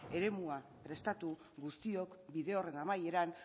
eremua prestatu guztiok bide horren amaieran